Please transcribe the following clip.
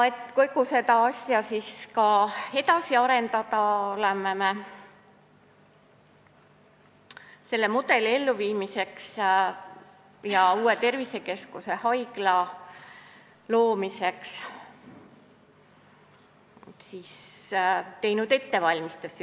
Et kogu seda asja edasi arendada, oleme teinud selle mudeli elluviimiseks ja uue tervisekeskuse, haigla loomiseks ettevalmistusi.